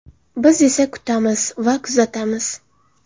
Biz esa kutamiz va kuzatamiz.